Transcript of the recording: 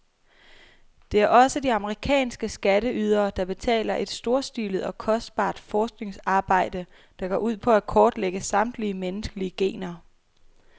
Det er også de amerikanske skatteydere, der betaler et storstilet og kostbart forskningsarbejde, der går ud på at kortlægge samtlige menneskelige gener.